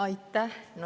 Aitäh!